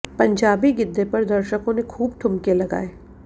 पंजाबी गिद्दे पर दर्शकों ने खूब ठूमके लगाए